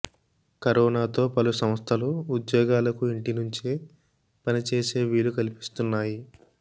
కరోనాతో పలు సంస్థలు ఉద్యోగులకు ఇంటి నుంచే పని చేసే వీలు కల్పిస్తున్నాయి